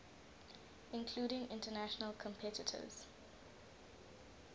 including international competitors